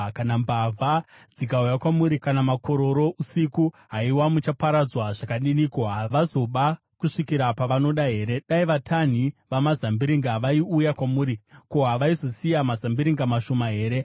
“Kana mbavha dzikauya kwamuri, kana makororo usiku, haiwa, muchaparadzwa zvakadiniko? Havazoba kusvikira pavanoda here? Dai vatanhi vamazambiringa vaiuya kwamuri, ko, havaizosiya mazambiringa mashoma here?